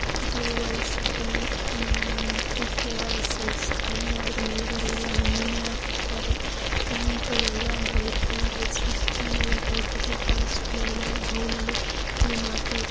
ಇದು ice cream ice cream ಅದರ ಮೇಲ್ಗಡೆ ಎಲ್ಲಾ ಹಣ್ಣನ್ನೆಲ್ಲಾ ಹಾಕಿರುತ್ತಾರೆ. Pink yellow and white colour ice cream spoon ಎಲ್ಲಾ ಇಟ್ಟಿರುತ್ತಾರೆ. ಗ್ಲಾಸ್ ಬೌಲ್ ಅಲ್ಲಿ ಇದನ್ನ ಹಾಕಿರು--